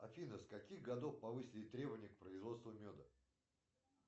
афина с каких годов повысили требования к производству меда